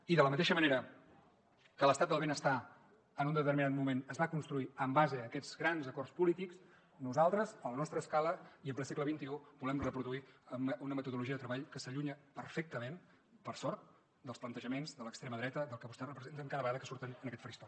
i de la mateixa manera que l’estat del benestar en un determinat moment es va construir en base a aquests grans acords polítics nosaltres a la nostra escala i en ple segle xxi volem reproduir una metodologia de treball que s’allunya perfectament per sort dels plantejaments de l’extrema dreta del que vostès representen cada vegada que surten en aquest faristol